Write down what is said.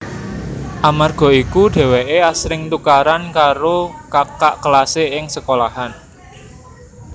Amarga iku dheweke asring tukaran karo kakak kelase ing sekolahan